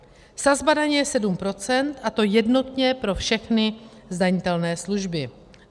Sazba daně je 7 %, a to jednotně pro všechny zdanitelné služby.